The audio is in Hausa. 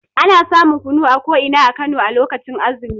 Ana samun kunu a ko ina a Kano lokacin azumi.